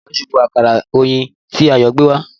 Èèrà súbo àkàrà oyinbo tí Ayo gbé wá